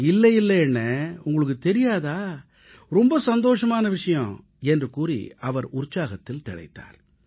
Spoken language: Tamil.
இல்லை இல்லை அண்ணே உங்களுக்குத் தெரியாதா ரொம்ப சந்தோஷமான விஷயம் என்று கூறி அவர் உற்சாகத்தில் திளைத்தார்